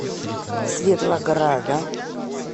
светлограда